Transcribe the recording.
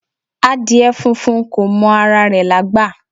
Adìẹ funfun ko mọ ara rẹ̀ lágbà